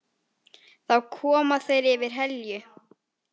Þá koma þeir yfir Helju.